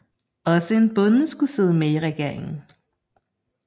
Også en bonde skulle sidde med i regeringen